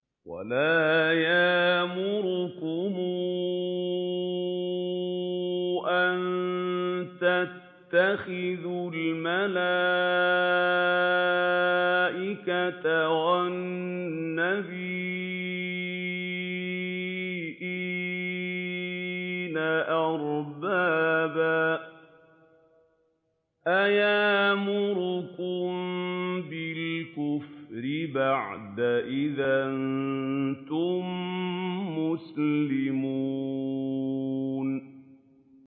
وَلَا يَأْمُرَكُمْ أَن تَتَّخِذُوا الْمَلَائِكَةَ وَالنَّبِيِّينَ أَرْبَابًا ۗ أَيَأْمُرُكُم بِالْكُفْرِ بَعْدَ إِذْ أَنتُم مُّسْلِمُونَ